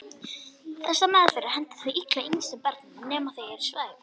Þessar meðferðir henta þó illa yngstu börnunum nema þau séu svæfð.